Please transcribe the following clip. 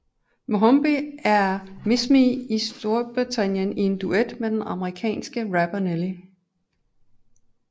Mohombi er Miss Me i Storbritannien i en duet med den amerikanske rapper Nelly